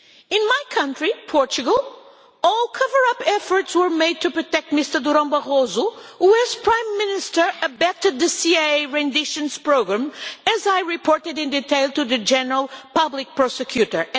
In my country, Portugal, all cover up efforts were made to protect Mr Durão Barroso who, as Prime Minister, abetted the CIA renditions programme, as I reported in detail to the General Public Prosecutor.